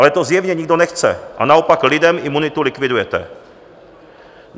Ale to zjevně nikdo nechce a naopak lidem imunitu likvidujete.